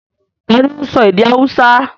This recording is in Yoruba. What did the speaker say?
Ta ni óún sọ èdè haúsá?